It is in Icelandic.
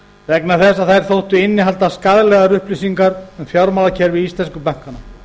vegna þess að þær þóttu innihalda skaðlegar upplýsingar um fjármálakerfi íslensku bankanna